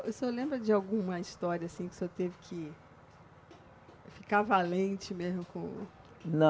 O senhor lembra de alguma história assim que o senhor teve que ficar valente mesmo com. Não.